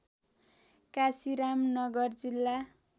काशीराम नगर जिल्ला